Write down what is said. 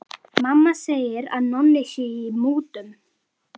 Mamma segir að Nonni sé í mútum.